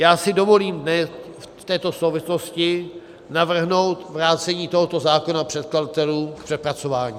Já si dovolím v této souvislosti navrhnout vrácení tohoto zákona předkladatelům k přepracování.